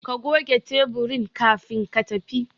Ka goge taburin kafin ka tafi